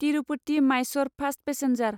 Tirupati Mysore fast passenger